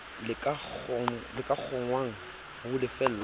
bo ka kgonwang ho lefellwa